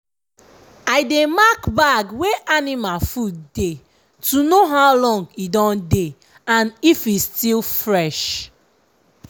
i dey mark bag wey anima food dey to no how long e don dey and if e still fresh.